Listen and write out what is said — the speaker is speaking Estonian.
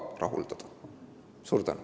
Suur tänu!